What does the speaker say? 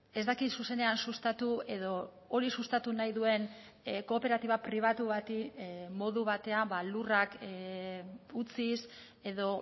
ez dakit zuzenean sustatu edo hori sustatu nahi duen kooperatiba pribatu bati modu batean lurrak utziz edo